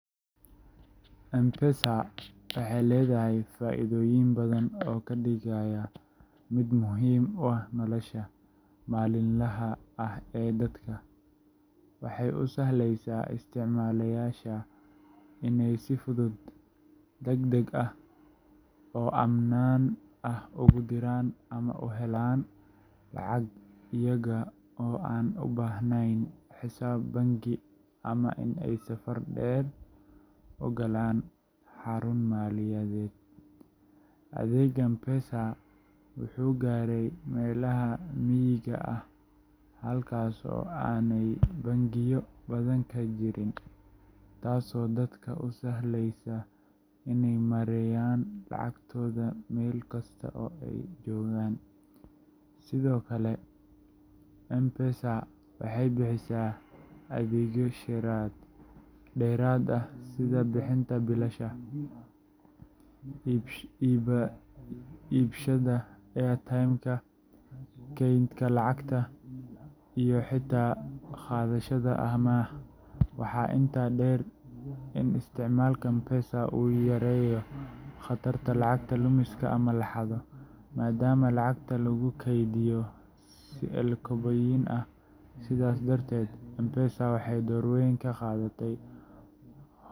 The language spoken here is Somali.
M-Pesa waxay leedahay faa’iidooyin badan oo ka dhigaya mid muhiim u ah nolosha maalinlaha ah ee dadka. Waxay u sahlaysaa isticmaaleyaasha inay si fudud, degdeg ah, oo ammaan ah ugu diraan ama u helaan lacag iyaga oo aan u baahnayn xisaab bangi ama in ay safar dheer u galaan xarun maaliyadeed. Adeegga M-Pesa wuxuu gaaray meelaha miyiga ah halkaas oo aanay bangiyo badani ka jirin, taasoo dadka u sahlaysa inay maareeyaan lacagtooda meel kasta oo ay joogaan. Sidoo kale, M-Pesa waxay bixisaa adeegyo dheeraad ah sida bixinta biilasha, iibsashada airtimeka, kaydinta lacagta, iyo xitaa qaadashada amaah. Waxaa intaa dheer in isticmaalka M-Pesa uu yareeyo khatarta lacag lumista ama la xado, maadaama lacagta lagu kaydiyo si elektaroonig ah. Sidaas darteed, M-Pesa waxay door weyn ka qaadatay .